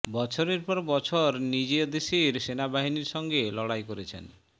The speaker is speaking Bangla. বছরের পর বছর নিজ দেশের সেনাবাহিনীর সঙ্গে লড়াই করেছেন